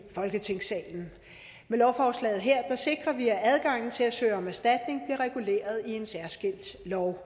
folketingssalen med lovforslaget her sikrer vi at adgangen til at søge om erstatning bliver reguleret i en særskilt lov